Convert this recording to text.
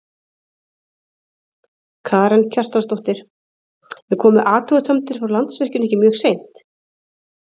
Karen Kjartansdóttir: En komu athugasemdir frá Landsvirkjun ekki mjög seint?